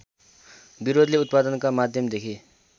विरोधले उत्पादनका माध्यमदेखि